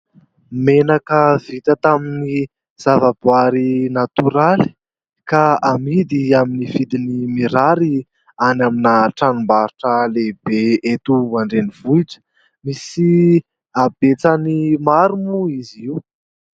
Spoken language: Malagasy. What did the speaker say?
Menaka vita tamin'ny zava-boary natoraly ka amidy amin'ny vidiny mirary any amina tranom-baritra lehibe eto andrenivohitra misy habetsany maro moa izy io.